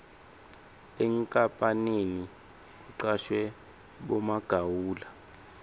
enkapaneni kucashwe bomagawula